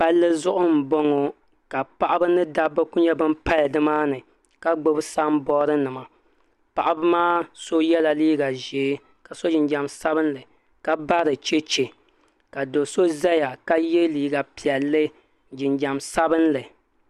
Palli zuɣu m boŋɔ ka paɣaba mini dabba kuli pali nimaani ka gbibi samboori nima paɣaba maa so yela liiga ʒee ka so jinjiɛm sabinli ka bari cheche ka do'so zaya ka ye liiga piɛlli jinjiɛm sabinli.